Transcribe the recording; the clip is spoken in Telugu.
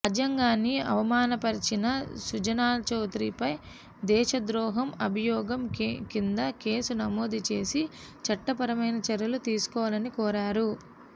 రాజ్యాంగాన్ని అవమానపర్చిన సుజనాచౌదరిపై దేశద్రోహం అభియోగం కింద కేసు నమోదు చేసి చట్టపరమైన చర్యలు తీసుకోవాలని కోరారు